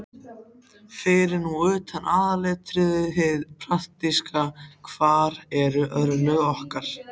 Fyrir nú utan aðalatriðið, hið praktíska: Hver eru örlög okkar?